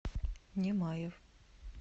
немаев